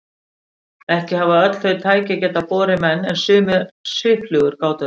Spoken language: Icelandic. Ekki hafa öll þau tæki getað borið menn en sumar svifflugur gátu það.